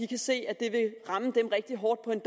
kan se at det vil ramme dem rigtig hårdt på en